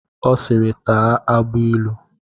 Ọ siiri, taa agbailu!